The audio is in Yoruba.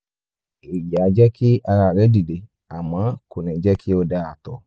èyí á jẹ́ kí ara rẹ dìde àmọ́ kò ní jẹ́ kí o da ààtọ̀